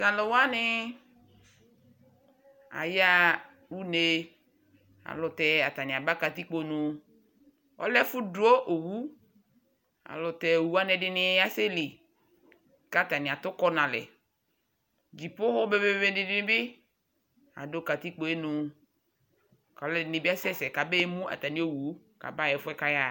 to alo wani ya ɣa une alotɛ atani aba katikpo nu ɔlɛ ɛfo do owu ɛlutɛ owu wani edini ya sɛ li ko atani ato ukɔ no alɛ ko owu be be be dini bi do katikpoe nu ko alo ɛdini bi asɛ sɛ ko abe mu atami owu ko aba ɣa ɛfuɛ ko aya ɣa